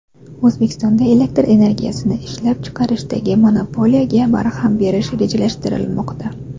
O‘zbekistonda elektr energiyasini ishlab chiqarishdagi monopoliyaga barham berish rejalashtirilmoqda.